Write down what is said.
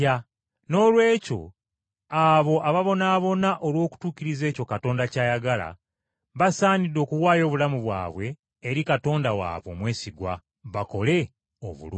Noolwekyo abo ababonaabona olw’okutuukiriza ekyo Katonda ky’ayagala, basaanidde okuwaayo obulamu bwabwe eri Katonda waabwe omwesigwa, bakole obulungi.